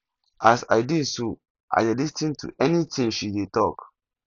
as i dey so i dey lis ten to any thing she dey talk